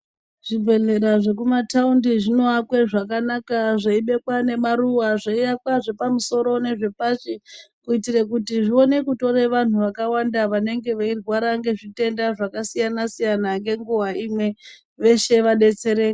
Zvibhedhlera zvekumataundi zvinoakwe zvakanaka zveibekwa nemaruwa. Zveiakwe zvepamusoro nezvepashi kuitire kuti zvikone kutora vantu vakawanda vanorwara zvitenda zvakasiyana siyana ngenguva imwe kuitira kuti veshe vadetsereke.